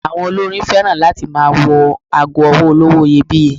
Àwọn olórin féràn láti máa wọ ago ọwọ́ olówó iyebíye.